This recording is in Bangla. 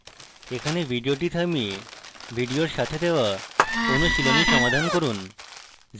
এখানে video থামিয়ে video এর সাথে দেওয়া অনুশীলনী সমাধান করুন